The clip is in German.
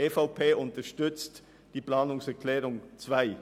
Die EVP unterstützt die Planungserklärung 2.